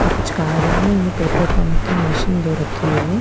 पर कुछ कार वार नहीं है पेट्रोल पंप की मशीन दो रखी हुइ है।